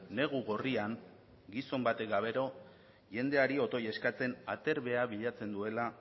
negu gorrian gizon batek gauero jendeari otoi eskatzen aterbea bilatzen duela